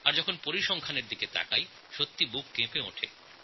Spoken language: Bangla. আর যখন পরিসংখ্যানের দিকে চোখ যায় তখন মন ব্যথিত হয়ে ওঠে